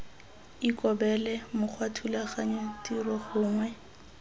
ikobele mokgwa thulaganyo tiro gongwe